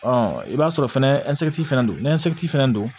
i b'a sɔrɔ fɛnɛ fɛnɛ don n'a fana don